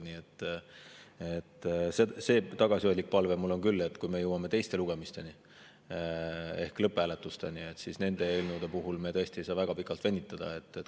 Nii et see tagasihoidlik palve mul on küll, et kui me jõuame teiste lugemisteni ehk lõpphääletusteni, siis nende eelnõudega me tõesti ei saa väga pikalt venitada.